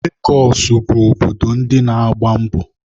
Legọsụ bụ obodo ndi na-agba mbọ.